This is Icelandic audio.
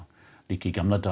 líka í gamla daga